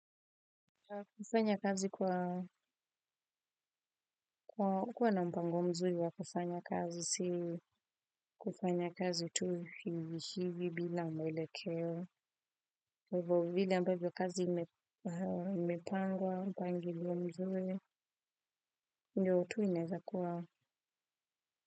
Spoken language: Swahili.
Kufanya kazi kwa kuwa na mpango mzuri wa kufanya kazi si kufanya kazi tu hivi si hivi bila mwelekeo. Hivo vile ambavyo kazi imepangwa mpango mzuri ndiyo tu inaiwezakuwa.